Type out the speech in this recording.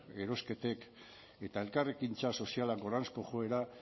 erosketek eta elkarrekintza soziala goranzko joera